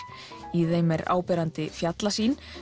í þeim er áberandi fjallasýn